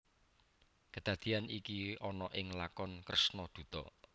Kadadeyan iki ana ing lakon Kresna Duta